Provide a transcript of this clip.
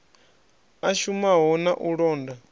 a shumaho na u londa